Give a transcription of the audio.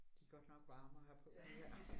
De godt nok varme at have på de her